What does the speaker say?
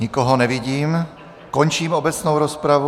Nikoho nevidím, končím obecnou rozpravu.